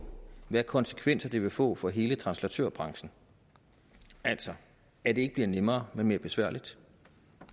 hvilke konsekvenser det vil få for hele translatørbranchen altså at det ikke bliver nemmere men mere besværligt